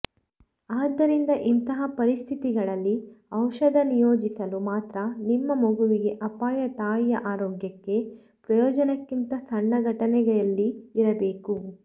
ಆದ್ದರಿಂದ ಇಂತಹ ಪರಿಸ್ಥಿತಿಗಳಲ್ಲಿ ಔಷಧ ನಿಯೋಜಿಸಲು ಮಾತ್ರ ನಿಮ್ಮ ಮಗುವಿಗೆ ಅಪಾಯ ತಾಯಿಯ ಆರೋಗ್ಯಕ್ಕೆ ಪ್ರಯೋಜನಕ್ಕಿಂತ ಸಣ್ಣ ಘಟನೆಯಲ್ಲಿ ಇರಬೇಕು